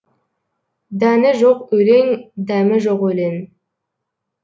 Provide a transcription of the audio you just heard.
дәні жоқ өлең дәмі жоқ өлең